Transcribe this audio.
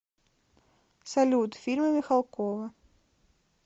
салют фильмы михалкова